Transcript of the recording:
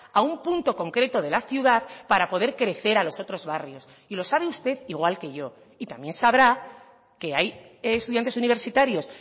a un punto concreto de la ciudad para poder crecer a los otros barrios y lo sabe usted igual que yo y también sabrá que hay estudiantes universitarios